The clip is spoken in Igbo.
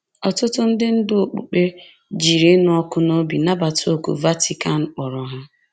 Ọtụtụ ndị ndú okpukpe jiri ịnụ ọkụ n’obi nabata òkù Vatican kpọrọ ha